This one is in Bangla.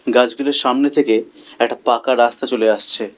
গাছগুলির সামনে থেকে একটা পাকা রাস্তা চলে আসছে।